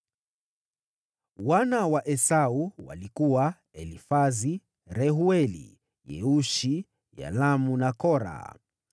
Wana wa Esau walikuwa: Elifazi, Reueli, Yeushi, Yalamu na Kora.